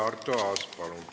Arto Aas, palun!